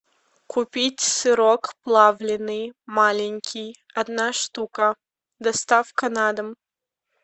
купить сырок плавленный маленький одна штука доставка на дом